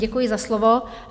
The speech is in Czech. Děkuji za slovo.